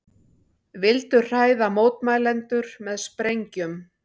Vildu hræða mótmælendur með sprengjum